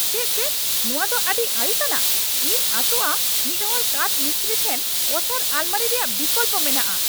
ᱪᱮᱫ ᱪᱮᱫ? ᱱᱚᱶᱟ ᱫᱚ ᱟᱹᱰᱤ ᱟᱹᱲᱤᱥ ᱟᱱᱟᱜ ! ᱤᱧ ᱟᱥᱚᱜᱼᱟ ᱢᱤᱫ ᱦᱚᱲ ᱠᱟᱴᱷ ᱢᱤᱥᱛᱨᱤ ᱴᱷᱮᱱ ᱚᱥᱟᱨ ᱟᱞᱢᱟᱹᱨᱤ ᱨᱮᱭᱟᱜ ᱵᱤᱠᱚᱞᱯᱚ ᱢᱮᱱᱟᱜᱼᱟ ᱾